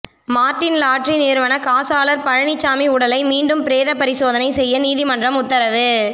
Martin lottery நிறுவன காசாளர் பழனிசாமி உடலை மீண்டும் பிரேத பரிசோதனை செய்ய நீதிமன்றம் உத்தரவு